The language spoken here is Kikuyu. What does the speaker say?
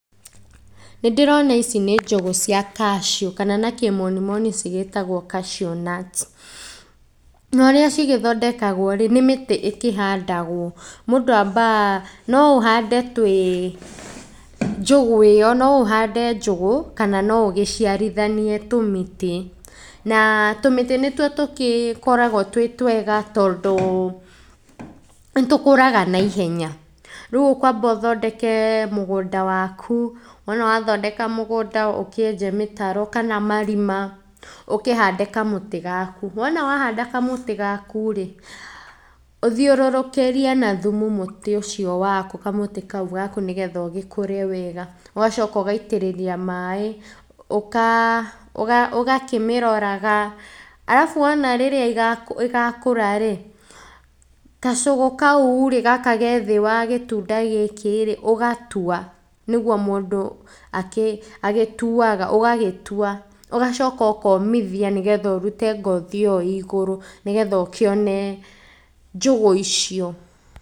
Nĩndĩrona ici nĩ njũgũ cia cashew kana na kĩmonimoni cigĩtagwo cashew nuts na ũrĩa cigĩthondekagwo rĩ, nĩ mĩtĩ ĩkĩhandagwo, mũndũ ambaga no ũhande twĩ njũgũ ĩyo no ũhande njũgũ, kana no ũgĩciarithanie tũmĩtĩ. Na tũmĩtĩ nĩtuo tũkĩkoragwo twĩ twega tondũ, nĩtũkũraga na ihenya. Rĩũ ũkwamba ũthondeke mũgũnda waku, wona wathondeka mũgũnda ũkĩenje mĩtaro kana marima, ũkĩhande kamũtĩ gaku. Wona wahanda kamũtĩ gaku rĩ, ũthiũrũkĩrie na thumu mũtĩ ũcio waku, kamũti kau gaku nĩgetha ũgĩkũre wega, ũgacoka ũgaitĩrĩria maĩ, ũka ũga ũgakĩmĩroraga arabu wona rĩrĩa igakũra rĩ, kacugũ kau rĩ, gaka ge thĩ wa gĩtunda gĩkĩ rĩ, ũgatua. Nĩguo mũndũ akĩ agĩtuaga ũgagĩtua, ũgacoka ũkomithi nĩgetha ũrute ngothi ĩyo ĩ igũrũ, nĩgetha ũkĩone njũgũ icio.